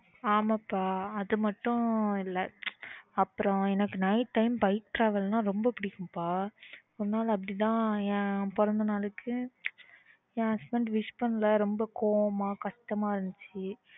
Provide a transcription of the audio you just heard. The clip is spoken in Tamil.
ஆமா பா அது மட்டும் இல்ல அப்புறம் எனக்கு night time bike travel ரொம்ப புடிக்கும் பா ஒரு நாள் அப்பிடி தான் என் பிறந்தநாளுக்கு என் husband wish பண்ணல ரொம்ப கோவமா கஷ்டமா இருந்துச்சு